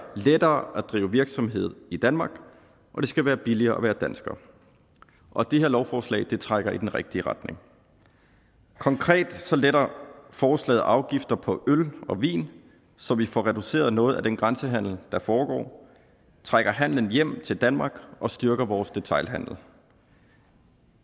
lettere at drive virksomhed i danmark og det skal være billigere at være dansker og det her lovforslag trækker i den rigtige retning konkret letter forslaget afgifter på øl og vin så vi får reduceret noget af den grænsehandel der foregår trækker handelen hjem til danmark og styrker vores detailhandel